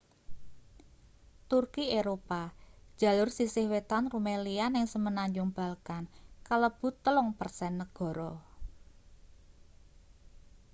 turki eropa jalur sisih wetan rumelia ning semenanjung balkan kalebu 3% negara